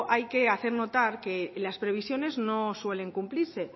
hay que hacer notar que las previsiones no suelen cumplirse